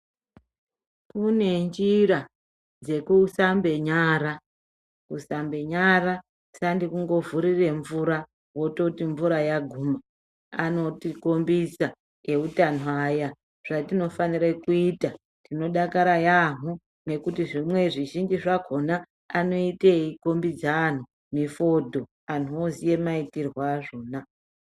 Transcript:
Kune njira dzekusambenyara, kuasmbenyara sandi kungovhurire mvura wototi mvura yaguma anotikumbisa neutano aya, zvatinofanira kuita tinodakara yaamo nekuti zvimwe zvizhinji zvakona anoita eikumbidze anju efudhu anhu ozive maitirwe azvona